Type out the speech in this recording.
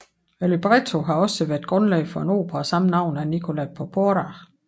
Librettoen har også været grundlag for en opera af samme navn af Nicola Porpora